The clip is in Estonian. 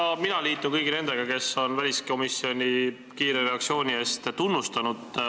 Ka mina liitun kõigi nendega, kes on väliskomisjoni kiire reaktsiooni eest tunnustanud.